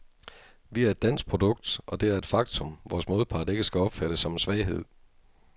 Vi er et dansk produkt, og det er et faktum, vores modpart ikke skal opfatte som en svaghed.